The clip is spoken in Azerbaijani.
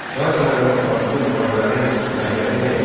Şah İsmayılın apardığı müharibələrin məqsədi nə idi?